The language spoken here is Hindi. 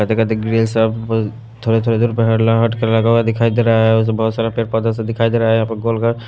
खाते खाते देख रहे है सब थोड़े थोड़े दूर पर ला हटकर लगा हुआ दिखाई दे रहा है उस बहुत सारा पेड़ पौधा से दिखाई दे रहा है यहां पर गोल घर--